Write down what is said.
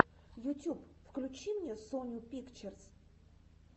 ютюб включи мне соню пикчерс